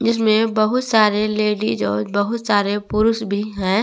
इसमें बहुत सारे लेडिस और बहुत सारे पुरुष भी है।